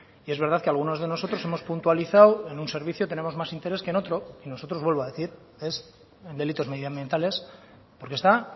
y es verdad que algunos de nosotros hemos puntualizado en un servicio tenemos más interés que en otro y nosotros vuelvo a decir es delitos medioambientales porque está